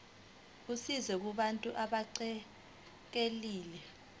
usizo kubantu abaxekekile